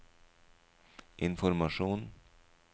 informasjon